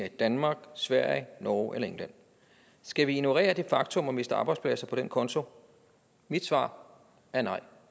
i danmark sverige norge eller england skal vi ignorere det faktum og miste arbejdspladser på den konto mit svar er nej